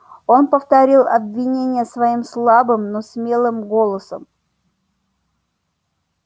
он повторил обвинения своим слабым но смелым голосом